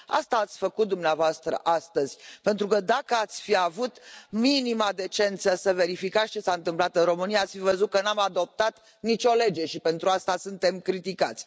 Asta ați făcut dumneavoastră astăzi, pentru că, dacă ați fi avut minima decență să verificați ce s a întâmplat în România, ați fi văzut că nu am adoptat nicio lege și pentru asta suntem criticați.